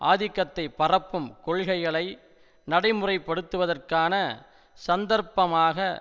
ஆதிக்கத்தை பரப்பும் கொள்கைகளை நடைமுறைப்படுத்துவதற்கான சந்தர்ப்பமாக